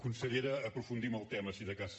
consellera aprofundim el tema si de cas